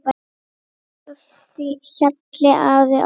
Elsku Hjalli afi okkar.